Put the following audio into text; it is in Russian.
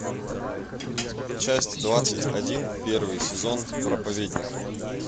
часть двадцать один первый сезон проповедник